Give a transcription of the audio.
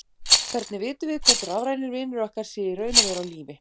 Hvernig vitum við hvort rafrænir vinir okkar séu í raun og veru á lífi?